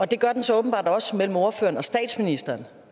det gør den så åbenbart også mellem ordføreren og statsministeren